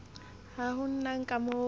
ha ho na ka moo